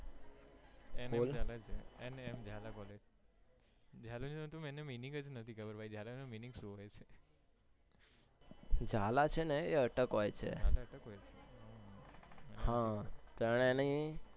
બોલ M N Jhala collage Jhala નો meaning જ નથી ખબર ઝાલા નો meaning સુ હોય છે ઝાલા છે ને એ અટક હોય છે હા